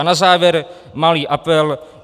A na závěr malý apel.